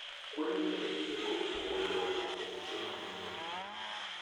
kwero nyalo pingo pogo lowo kuom joma mine